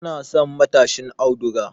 Yana son matashin auduga